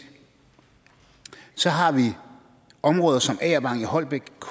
og så har vi områder som agervang i holbæk